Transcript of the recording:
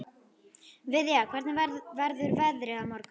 Viðja, hvernig verður veðrið á morgun?